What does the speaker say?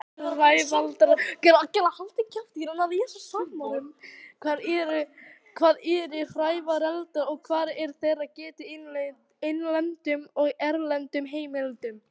Hvað eru hrævareldar og hvar er þeirra getið í innlendum og erlendum heimildum?